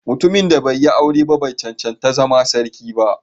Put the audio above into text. Mutumin da bai yi aure ba bai cancanci zama sarki ba